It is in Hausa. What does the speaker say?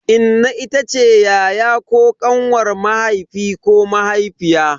Inna itace yaya ko kanwar mahaifi ko mahaifiya.